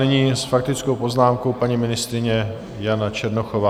Nyní s faktickou poznámkou paní ministryně Jana Černochová.